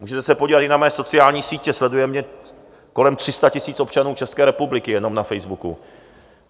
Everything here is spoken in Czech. Můžete se podívat i na mé sociální sítě, sleduje mě kolem 300 000 občanů České republiky jenom na Facebooku.